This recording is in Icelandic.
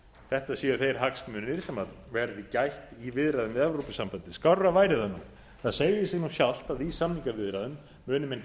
þetta séu þeir hagsmunir sem verði gætt í viðræðum við evrópusambandið skárra væri það nú það segir sig sjálft að í samningaviðræðum muni menn